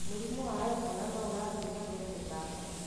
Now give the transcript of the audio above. Mũrimũ wa Ebola no ũrathĩ na mbere gũtamba.